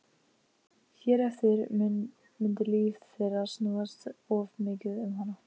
Hér eftir mundi líf þeirra snúast of mikið um hana.